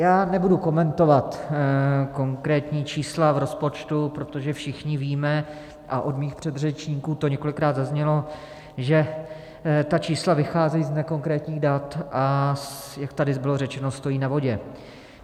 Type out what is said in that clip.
Já nebudu komentovat konkrétní čísla v rozpočtu, protože všichni víme, a od mých předřečníků to několikrát zaznělo, že ta čísla vycházejí z nekonkrétních dat, a jak tady bylo řečeno, stojí na vodě.